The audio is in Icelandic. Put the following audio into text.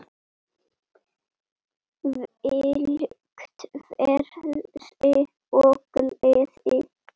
Þvílíkt frelsi og gleði.